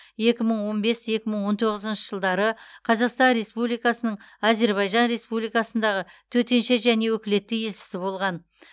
екі мың он бес екі мың он тоғызыншы жылдары қазақстан республикасының әзербайжан республикасындағы төтенше және өкілетті елшісі болған